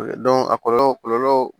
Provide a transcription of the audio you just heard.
a kɔlɔlɔw